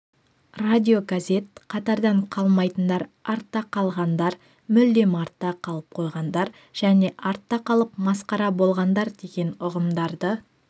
радиогазет қатардан қалмайтындар артта қалғандар мүлдем артта қалып қойғандар және артта қалып масқара болғандар деген ұғымдарды